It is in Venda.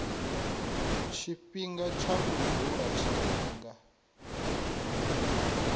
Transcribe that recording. tshifhinga tsha u dzula tshifhinga